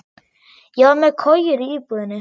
Ég var með kojur í íbúðinni.